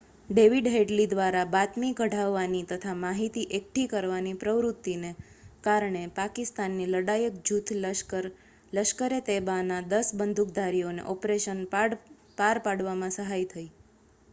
David Headley દ્વારા બાતમી કઢાવવાની તથા માહિતી એકઠી કરવાની પ્રવૃત્તિને કારણે પાકિસ્તાની લડાયક જૂથ લશ્કર-એ-તૈબાના 10 બંદૂકધારીઓને ઑપરેશન પાર પાડવામાં સહાય થઈ